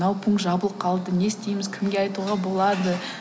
мынау пункт жабылып қалды не істейміз кімге айтуға болады